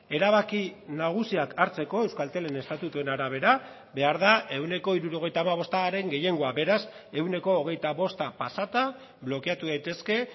erabaki nagusiak hartzeko euskaltelen estatutuen arabera behar da ehuneko hirurogeita hamabostaren gehiengoa beraz ehuneko hogeita bosta pasata blokeatu daitezke